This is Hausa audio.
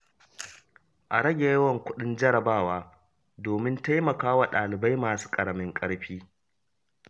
A rage yawan kuɗin jarabawa domin taimaka wa ɗalibai masu ƙaramin ƙarfi.